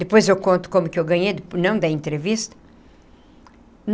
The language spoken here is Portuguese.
Depois eu conto como que eu ganhei, não da entrevista.